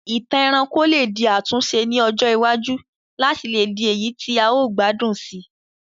Ìtàn ẹranko lé di àtúnse ni ọjọ iwájú láti le di èyí ti a o gbádùn sii